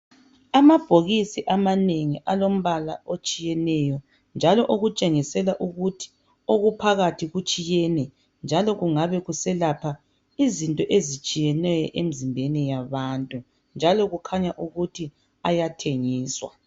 Amabhokisi amanengi alombala otshiyeneyo njalo okutshengisela ukuthi okuphakathi kutshiyene njalo kungabe kuselapha izinto etshiyeneyo emizimbeni yabantu njalo kukhanya ukuthi ayathengiswa